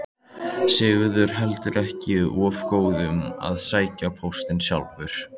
Sigurður heldur ekki of góður að sækja póstinn sjálfur.